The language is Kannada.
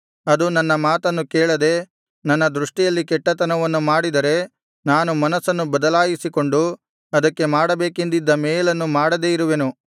ಅದು ನನ್ನ ಮಾತನ್ನು ಕೇಳದೆ ನನ್ನ ದೃಷ್ಟಿಯಲ್ಲಿ ಕೆಟ್ಟತನವನ್ನು ಮಾಡಿದರೆ ನಾನು ಮನಸ್ಸನ್ನು ಬದಲಾಯಿಸಿಕೊಂಡು ಅದಕ್ಕೆ ಮಾಡಬೇಕೆಂದಿದ್ದ ಮೇಲನ್ನು ಮಾಡದೆ ಇರುವೆನು